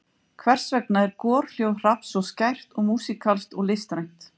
Hversvegna er gorhljóð hrafns svo skært og músíkalskt og listrænt?